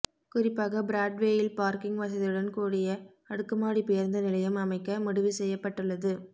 குறிப்பாக பிராட்வேயில் பார்க்கிங் வசதியுடன் கூடிய அடுக்குமாடி பேருந்து நிலையம் அமைக்க முடிவு செய்யப்பட்டுள்ளது